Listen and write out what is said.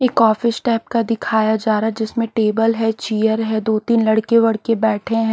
एक office type का दिखाया जा रहा है जिसमें टेबल है चेयर है दो तीन लड़के वडके बैठे हैं।